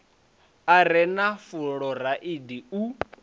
a re na fuloraidi u